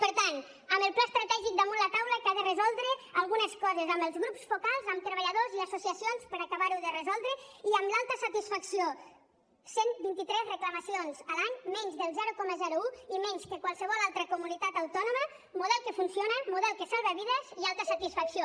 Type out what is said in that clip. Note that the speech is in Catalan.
per tant amb el pla estratègic damunt la taula que ha de resoldre algunes coses amb els grups focals amb treballadors i associacions per acabar ho de resoldre i amb l’alta satisfacció cent i vint tres reclamacions a l’any menys del zero coma un i menys que qualsevol altra comunitat autònoma model que funciona model que salva vides i alta satisfacció